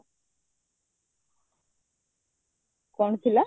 କଣ ଥିଲା?